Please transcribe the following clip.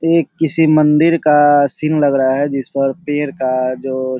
ये किसी मंदिर का सीन लग रहा है जिस पर पेड़ का जो --